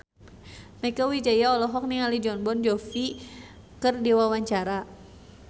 Mieke Wijaya olohok ningali Jon Bon Jovi keur diwawancara